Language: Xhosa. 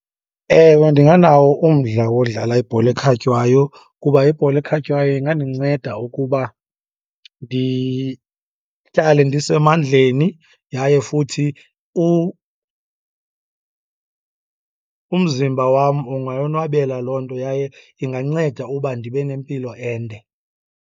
Ewe, ndinganawo umdla wodlala ibhola ekhatywayo kuba ibhola ekhatywayo ingandinceda ukuba ndihlale ndisemandleni. Yaye futhi umzimba wam ungayonwabela loo nto, yaye inganceda uba ndibe nempilo ende.